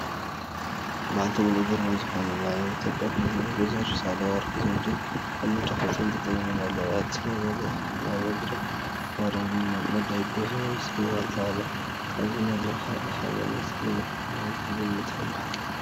በዓልቲ ሙሉእ ግርማ ዝኾና ናይ ኢትዮጵያ ፕረዚደንት ወይዘሮ ሳህለወርቅ ዘውዴ ኣብ መረኽ ወፂአን ጠጠው ኢለን ኣለዋ፡፡ ኣብቲ ናይ መድረኽ ናይ መደረ መቕረቢ መደገፊ ምስሊ ዋልታ ኣሎ፡፡ ካብዚ እቲ መድረኽ ንሃርበኝነት ዝምልከት ምዃኑ ክንግምት ንኽእል፡፡ ብሓቂ